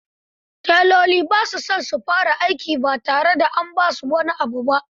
Teloli ba sa son aiki ba tare da an ba su wani abu abu ba.